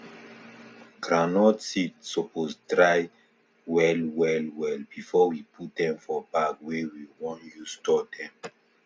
groundnut seed supose dry well well well before we put dem for bag wey we want use store dem